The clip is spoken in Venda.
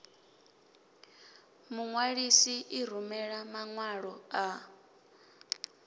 muṅwalisi i rumela maṅwalo a